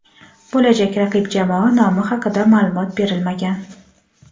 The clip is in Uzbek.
Bo‘lajak raqib jamoa nomi haqida ma’lumot berilmagan.